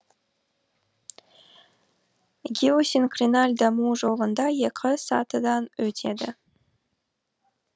геосинклиналь даму жолында екі сатыдан өтеді